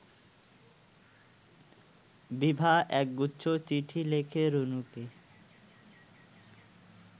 বিভা একগুচ্ছ চিঠি লেখে রুনুকে